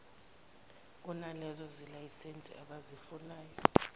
kunalezo zelayisense abayifunayo